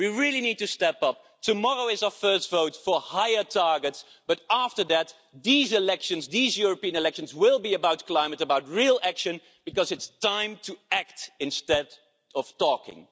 We really need to step up. Tomorrow is our first vote for higher targets. But after that, these elections, these European elections, will be about climate about real action, because it's time to act instead of talking.